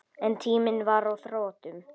En tíminn var á þrotum.